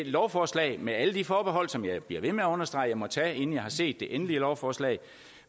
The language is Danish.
lovforslag med alle de forbehold som jeg bliver ved med at understrege jeg må tage inden jeg har set det endelige lovforslag